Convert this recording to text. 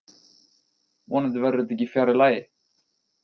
Vonandi verður þetta ekki fjarri lagi